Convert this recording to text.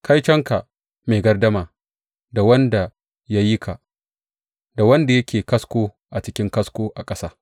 Kaitonka mai gardama da Wanda ya yi ka, da wanda yake kasko a cikin kasko a ƙasa.